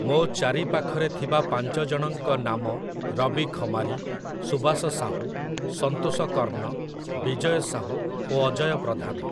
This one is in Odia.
ମୋ ଚାରି ପାଖରେ ଥିବା ପାଞ୍ଚ ଜଣଙ୍କ ନାମ ରବି ଖମାରି, ସୁବାସ ସାହୁ, ସନ୍ତୋଷ କର୍ଣ୍ଣ, ବିଜୟ ସାହୁ ଓ ଅଜୟ ପ୍ରଧାନ।